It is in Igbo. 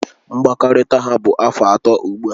Mkpakọrịta ha bụ afọ atọ ugbu a